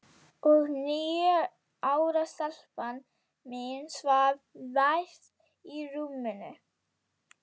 Og níu ára stelpan mín svaf vært í rúminu.